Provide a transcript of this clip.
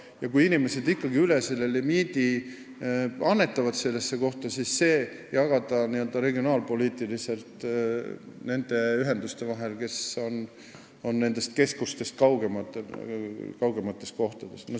Ja kui inimesed ikkagi üle limiidi mingisse kohta annetavad, siis võiks jagada selle raha regionaalpoliitiliselt nende ühenduste vahel, mis on keskustest kaugemates kohtades.